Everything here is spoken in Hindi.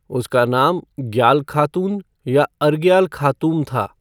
उसका नाम ग्याल खातून या अर्ग्याल खातूम था।